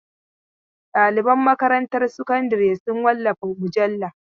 Ɗaliban makarantar sakandare sun wallafa mujalla.